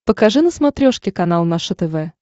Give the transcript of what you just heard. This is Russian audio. покажи на смотрешке канал наше тв